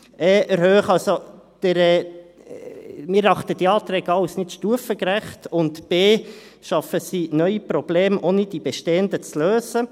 Wir erachten diese Anträge – a – als nicht stufengerecht, und – b – schaffen sie neue Probleme, ohne die bestehenden zu lösen.